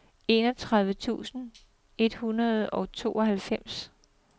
enogtredive tusind et hundrede og tooghalvfems